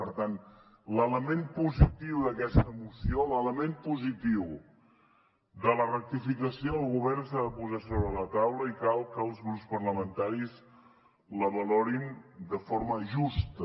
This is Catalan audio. per tant l’element positiu d’aquesta moció l’element positiu de la rectificació del govern s’ha de posar sobre la taula i cal que els grups parlamentaris la valorin de forma justa